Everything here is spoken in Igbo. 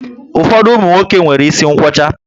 Ụfọdụ umunwoke nwéré isi nkwocha